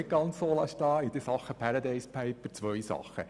In Sachen «Paradise Papers» möchte ich zwei Dinge ausführen.